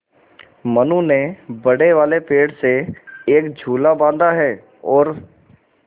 मनु ने बड़े वाले पेड़ से एक झूला बाँधा है और